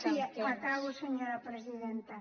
sí acabo senyora presidenta